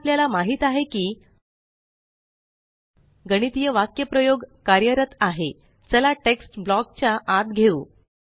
आता आपल्याला माहीत आहे की गणितीय वाक्यप्रयोग कार्यरत आहे चला टेक्स्ट ब्लॉक च्या आत घेऊ